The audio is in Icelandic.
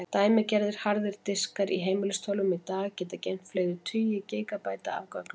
Dæmigerðir harðir diskar í heimilistölvum í dag geta geymt fleiri tugi gígabæta af gögnum.